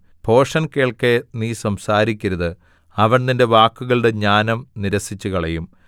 ഭോഷൻ കേൾക്കെ നീ സംസാരിക്കരുത് അവൻ നിന്റെ വാക്കുകളുടെ ജ്ഞാനം നിരസിച്ചുകളയും